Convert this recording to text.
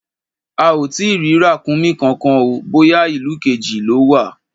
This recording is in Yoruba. A ò tí ì rí ràkúnmí kankan o, bóyá ìlú kejì lọ́ wà.